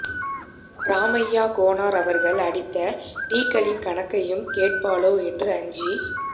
ராமையாக் கோனார் அவர் அடித்த டீக்களின் கணக்கையும் கேட்பாளோ என்று அஞ்சி